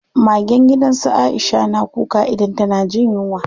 Magen gidan su Aisha na kuka idan tana jin yunwa.